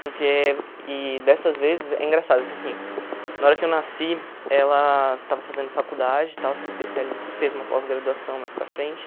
Porque, e dessas vezes, é engraçado que assim, na hora que eu nasci, ela estava fazendo faculdade e tal, se especiali fez uma pós-graduação mais para frente.